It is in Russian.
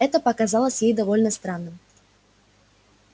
это показалось ей довольно странным